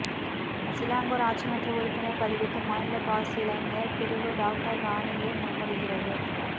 Selangor ஆட்சிமன்ற உறுப்பினர் பதவிக்கு மாநில பாஸ் இளைஞர் பிரிவு டாக்டர் ரானியை முன்மொழிகிறது